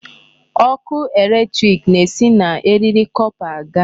Ọkụ electric na-esi na eriri copper aga.